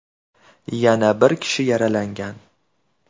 Yana bir kishi yaralangan.